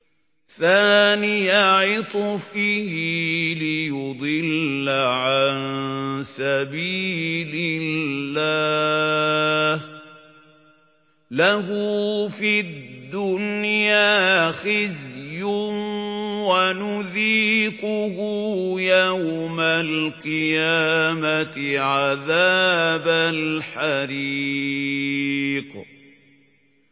ثَانِيَ عِطْفِهِ لِيُضِلَّ عَن سَبِيلِ اللَّهِ ۖ لَهُ فِي الدُّنْيَا خِزْيٌ ۖ وَنُذِيقُهُ يَوْمَ الْقِيَامَةِ عَذَابَ الْحَرِيقِ